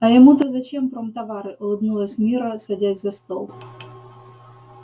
а ему-то зачем промтовары улыбнулась мирра садясь за стол